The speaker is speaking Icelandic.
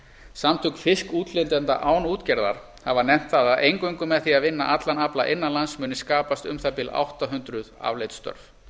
samtök fiskútflytjenda án útgerðar hafa nefnt það að eingöngu með því að vinna allan afla innan lands muni skapast um það bil átta hundruð afleidd störf